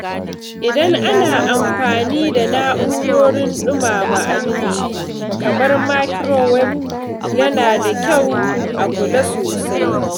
Idan ana amfani da na’urorin ɗumama abinci kamar microwave, yana da kyau a kula sosai.